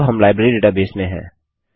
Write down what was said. अब हम library database में हैं